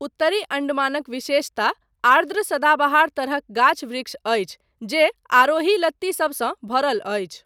उत्तरी अण्डमानक विशेषता आर्द्र सदाबहार तरहक गाछ वृक्ष अछि जे आरोही लत्ती सबसँ भरल अछि।